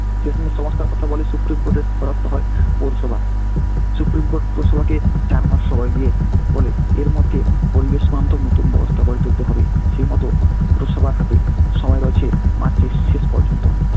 সমস্থার কথা বলে supreme court এর দ্বারস্থ হয় পৌরসভা। supreme court পৌরসভাকে চার মাস সময় দিয়ে বলে এর মধ্যে পরিবেশ বান্ধব নতুন ব্যবস্থা গড়ে তুলতে হবে, সেইমতো পৌরসভার হাতে সময় রয়েছে march এর শেষ পর্যন্ত।